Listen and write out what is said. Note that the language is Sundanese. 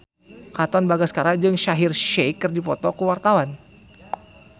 Katon Bagaskara jeung Shaheer Sheikh keur dipoto ku wartawan